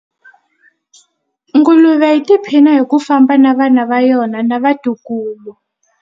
Nguluve yi tiphina hi ku famba na vana va yona na vatukulu.